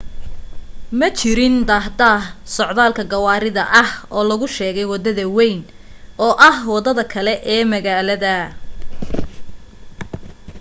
ma jirin daahdaah socdaalka gawaarida ah oo lagu sheegay wadada wayn oo ah wadada kale oo magaalada